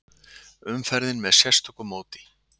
Umferðin með sérstöku móti